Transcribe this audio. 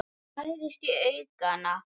Það færist í aukana.